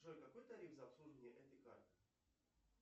джой какой тариф за обслуживание этой карты